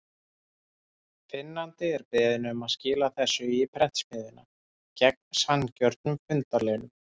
Finnandi er beðinn um að skila þessu í prentsmiðjuna, gegn sanngjörnum fundarlaunum.